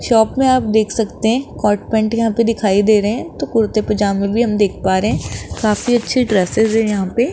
Shop में आप देख सकते हैं कॉट पैंट यहां पे दिखाई दे रहे हैं तो कुर्ते पजामे भी हम लोग देख पा रहे हैं काफी अच्छे ड्रेसस हैं यहां पे।